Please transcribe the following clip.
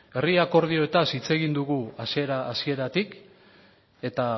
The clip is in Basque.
herri akordioez hitz egin dugu hasiera hasieratik eta